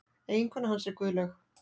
Eiginkona hans er Guðlaug